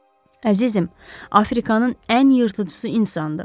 Əzizim, Afrikanın ən yırtıcısı insandır.